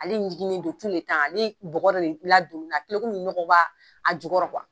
Ale jiginen don ale bɔgɔ yɛrɛ kɛlen komi nɔgɔ b'a a jukɔrɔ